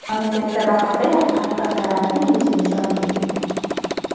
Mamlakatda bahordayoq qattiq karantin rejimi joriy etilgan.